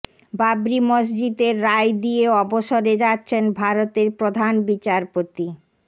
বাবরি মসজিদের রায় দিয়ে অবসরে যাচ্ছেন ভারতের প্রধান বিচারপতি